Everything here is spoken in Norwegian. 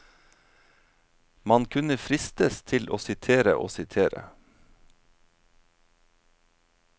Man kunne fristes til å sitere og sitere.